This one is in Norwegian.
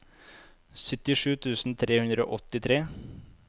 syttisju tusen tre hundre og åttitre